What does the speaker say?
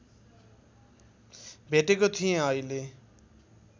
भेटेको थिएँ अहिले